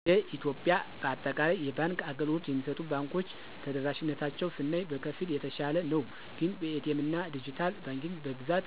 እንደ ኢትዮጵያ በአጠቃላይ የባንክ አገልግሎት የሚሰጡ ባንኮች ተደራሽነታቸውን ስናይ በከፊል የተሻለ ነው ግን በኤ.ቲ. ኤምና ድጅታል ባንኪንግ በብዛት